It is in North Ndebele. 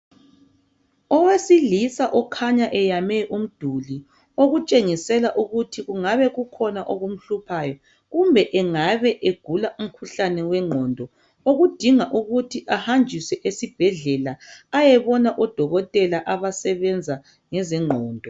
Owesilisa okhanya eyame umduli okutshengisela ukuthi kungabe kukhona okumhluphayo. Kumbe engabe egula umkhuhlane wengqondo okudinga ukuthi ahanjiswe esibhedlela ayebona odokotela abasebenza ngezengqondo.